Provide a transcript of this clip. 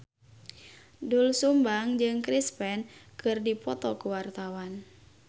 Doel Sumbang jeung Chris Pane keur dipoto ku wartawan